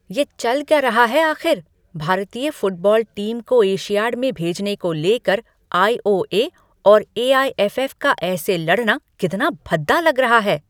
ये चल क्या रहा है आख़िर? भारतीय फुटबॉल टीम को एशियाड में भेजने को लेकर आई. ओ. ए. और ए. आई. एफ. एफ. का ऐसे लड़ाना कितना भद्दा लग रहा है।